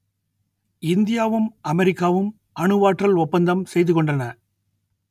இந்தியாவும் அமெரிக்காவும் அணுவாற்றல் ஒப்பந்தம் செய்து கொண்டன